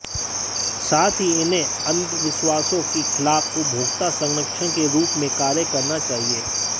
साथ ही इन्हें अंधविश्वासों के खिलाफ उपभोक्ता संरक्षण के रूप में कार्य करना चाहिए